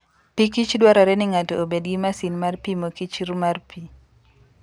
Pikich dwarore ni ng'ato obed gi masin mar pimo kichr mar pi.